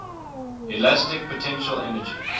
elastic potential energy